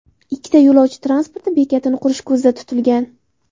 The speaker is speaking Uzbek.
Ikkita yo‘lovchi transporti bekatini qurish ko‘zda tutilgan.